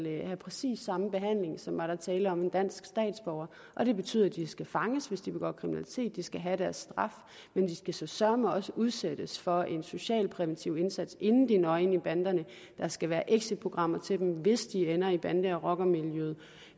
have præcis samme behandling som var der tale om en dansk statsborger og det betyder at de skal fanges hvis de begår kriminalitet og at de skal have deres straf men de skal søreme også udsættes for en socialpræventiv indsats inden de når ind i banderne der skal være exitprogrammer til dem hvis de ender i bande rocker miljøet